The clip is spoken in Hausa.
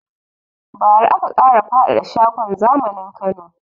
Ba ra aka ƙara faɗada shagon zamanin Kano